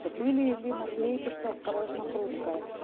то были ли наклейки что осторожно хрупкое